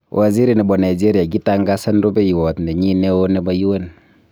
Waziri nebo Nigeria kitangasan rubewayat nenyi neo nebo UN.